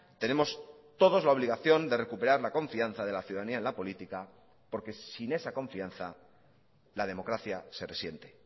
tenemos todos la obligación de recuperar la confianza de la ciudadanía en la política porque sin esa confianza la democracia se resiente